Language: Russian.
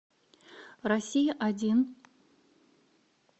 россия один